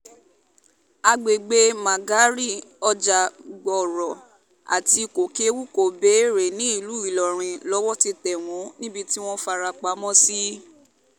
àgbègbè mãgárì ọjà-gbọ́rọ̀ àti kókèwu-kobeere nílùú ìlọrin lowó ti tẹ̀ wọ́n níbi tí wọ́n fara pamọ́ sí